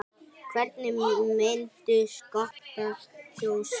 Hvernig myndu Skotar kjósa?